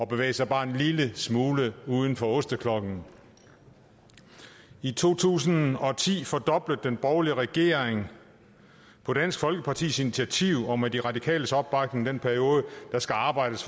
bevæge sig bare en lille smule uden for osteklokken i to tusind og ti fordoblede den borgerlige regering på dansk folkepartis initiativ og med de radikales opbakning den periode der skal arbejdes